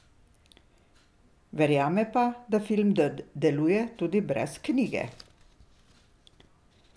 Verjame pa, da film deluje tudi brez knjige.